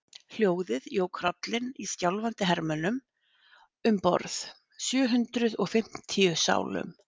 Hljóðið jók hrollinn í skjálfandi hermönnunum um borð, sjö hundruð og fimmtíu sálum.